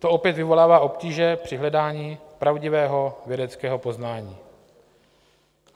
To opět vyvolává obtíže při hledání pravdivého vědeckého poznání.